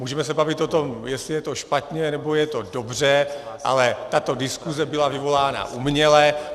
Můžeme se bavit o tom, jestli je to špatně, nebo je to dobře, ale tato diskuze byla vyvolána uměle.